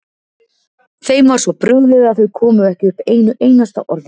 Þeim var svo brugðið að þau komu ekki upp einu einasta orði.